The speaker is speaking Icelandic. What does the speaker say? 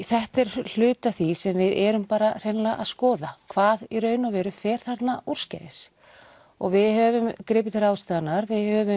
þetta er hluti af því sem við erum bara hreinlega að skoða hvað í raun og veru fer þarna úrskeiðis við höfum gripið til ráðstafana við höfum